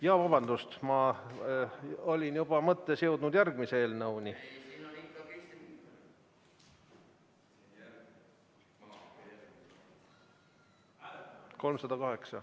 Jaa, vabandust, ma olin juba mõttes jõudnud järgmise eelnõuni.